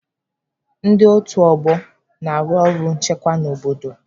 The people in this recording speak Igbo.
Ndị otu ọgbọ na-arụ ọrụ nchekwa n'obodo.